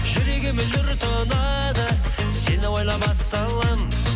жүрегіме жыр тұнады сені ойламас